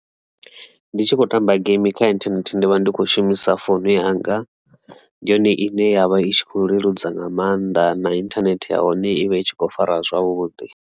Ndi tshi khou tamba game kha inthanethe ndavha ndi kho shumisa founu yanga ndi yone ine yavha i tshi kho leludza nga maanḓa na internet ya hone ivha i tshi khou fara zwavhuḓi.